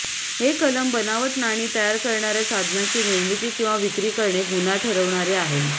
हे कलम बनावट नाणी तयार करणाऱ्या साधनाची निर्मिती किंवा विक्री करणे गुन्हा ठरवणारे आहे